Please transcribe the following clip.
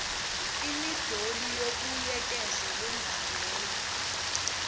imoduli yobuyekezo lwembangela